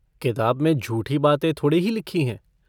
किताब में झूठी बातें थोड़े ही लिखी हैं।